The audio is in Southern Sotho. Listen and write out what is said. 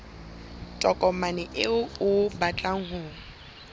tokomane eo o batlang ho